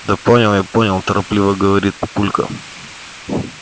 да понял я понял торопливо говорит папулька